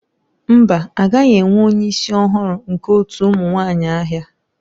Mba a gaghị enwe onye isi ọhụrụ nke otu ụmụ nwanyị ahịa.